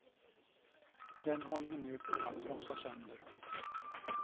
Den håller vi nu på att trasa sönder.